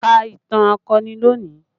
Ka ìtàn akọni lónìí!